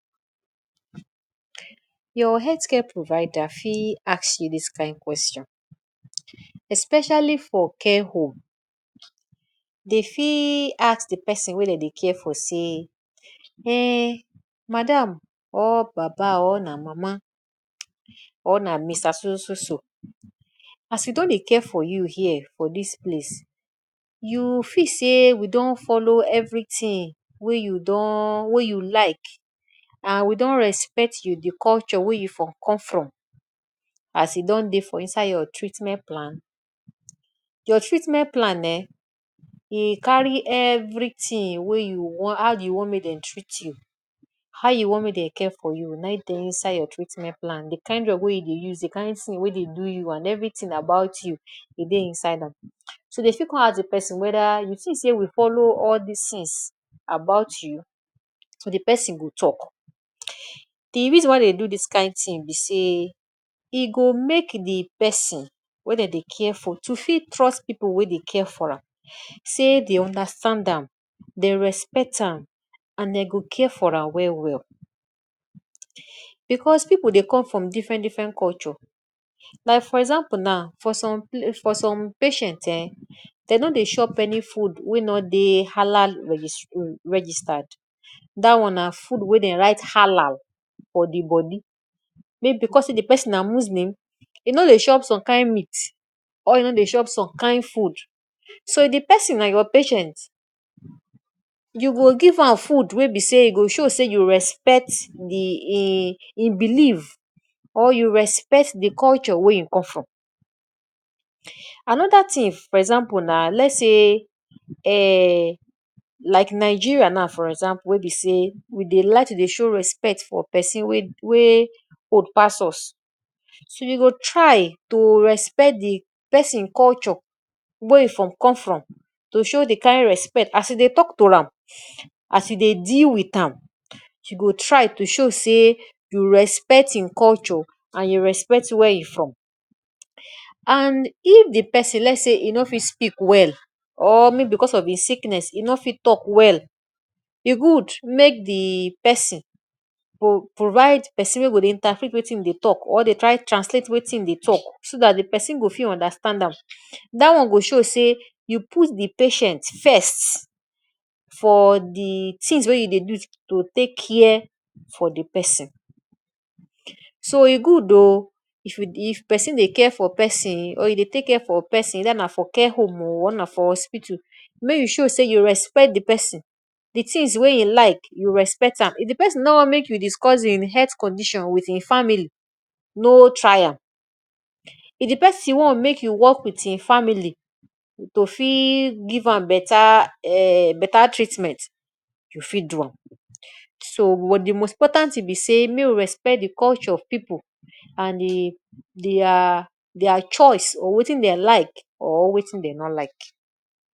Your healthcare provider fit ask you this kain question, especially for care home. Dey fi ask de person wey dem dey care for sey um madam or baba or na mama or na mister so so so so, as we don dey care for you here for this place you fit sey we don follow everything wey you don wey you like and we don respect you de culture wey you for come from as you don dey for inside your treatment plan? Your treatment plan um e carry everything wey you wan how you wan make dem treat you how you wan make dem care for you naim dey inside your treatment plan. de kind drug wey you dey use de kind thing wey dey do you and everything about you e dey inside am. So dey fit con ask de person whether you think sey we follow all this things about you so de person go talk. De reason why dey do this kind thing be sey, e go make de person wey dem dey care for to fit trust people wey dey care for am sey dey understand, am dey respect am and dem go care for am well well because pipu dey come from different different culture, like for example now for for some patient um dey no de chop any food wey no dey halal regis registered that one na food wey dey write halal for di body because sey de person na Muslim e no dey chop some kind meat or e no dey chop some kind food so if de person na your patient you go give am food wey be sey e go show sey you respect d in hin belief or you respect de culture wey hin come from. Anoda thing for example na, let sey um like Nigeria now for example wey be sey we dey like to dey show respect for person wey wey old pass us. You go try to respect de person culture wey him for come from, to show de kind respect as you dey talk to am, as u dey deal with am, you go try to show sey you respect im culture and you respect where e from and if de person let sey e no fit speak well or maybe because of im sickness he no fit talk well e good make de person provide person wey go dey interpret wetin we dey talk or dey try translate wetin e dey talk so that de person go fit understand am that one go show sey you put de patient first for de things wey you dey do to take care for de person. So e good oo if person dey care for person or you dey take care for person whether for care home oo or na for hospital make you show sey you respect de person de things wey hin like you respect am. If de person no wan make you discuss hin health condition with im family no try am, if de person wan make you work with im family to fit give am better um better treatment, you fit do am. So, but de most important thing be sey make you respect de culture of people and de dia dia choice or wetin dem like or wetin dem no like.